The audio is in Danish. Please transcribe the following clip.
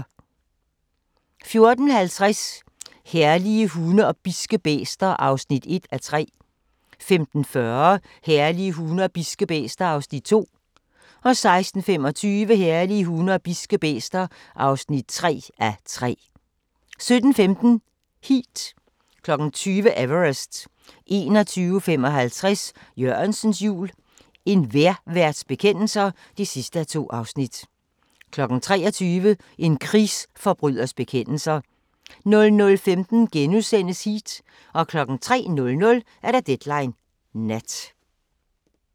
14:50: Herlige hunde og bidske bæster (1:3) 15:40: Herlige hunde og bidske bæster (2:3) 16:25: Herlige hunde og bidske bæster (3:3) 17:15: Heat 20:00: Everest 21:55: Jørgensens jul – En vejrværts bekendelser (2:2) 23:00: En krigsforbryders bekendelser 00:15: Heat * 03:00: Deadline Nat